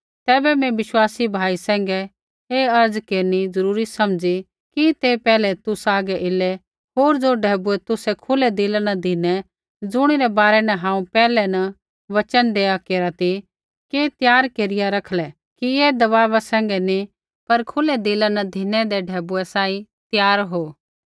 तैबै मैं विश्वासी भाइया सैंघै ऐ अर्ज़ केरनी जरूरी समझ़ी कि ते पैहलै तुसा हागै एलै होर ज़ो ढैबुऐ तुसै खुलै दिला न धिनै ज़ुणिरै बारै न हांऊँ पैहलै न वचन देआ केरा ती कि त्यार केरिया रखलै कि ऐ दबाव सैंघै नी पर खुलै दिला न धिनैदै ढैबुऐ सांही त्यार हो